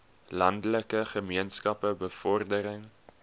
landelike gemeenskappe bevordering